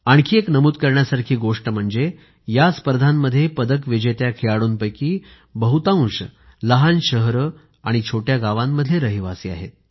आणखी एक नमूद करण्यासारखी गोष्ट म्हणजे या स्पर्धांमध्ये पदक विजेत्या खेळाडूंपैकी बहुतांश लहान शहरे छोट्या गावांमधले रहिवासी आहेत